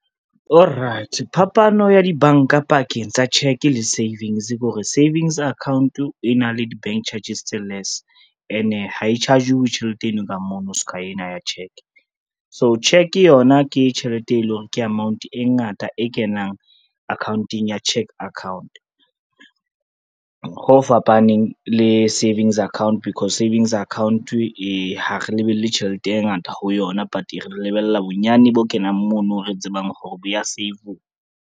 Oh right phapano ya dibanka pakeng tsa cheque le savings ke hore, savings account e na le di bank charges tse less ene ha e charge-uwe tjhelete eno ka mono ska ena ya cheque. So cheque yona ke tjhelete e leng hore, ke amount e ngata e kenang akhaonteng ya cheque account, ho fapaneng le savings account, because savings account ha re lebelle tjhelete e ngata ho yona but re lebella bonyane bo kenang mono re tsebang hore bo ya save-uwa.